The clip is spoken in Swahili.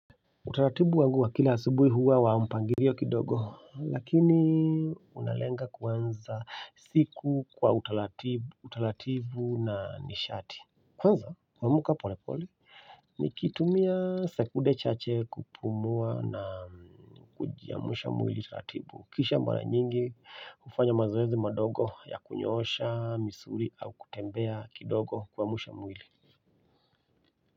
Utaratibu wangu wa kila asubuhi huwa wa mpangilio kidogo lakini unalenga kuanza siku kwa utaratibu na nishati kwanza kuamka polepole nikitumia sekude chache kupumua na kujiamusha mwili taratibu kisha mara nyingi hufanya mazoezi madogo ya kunyoosha misuli au kutembea kidogo kuamsha mwili.